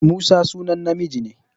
Musa sunan namiji ne.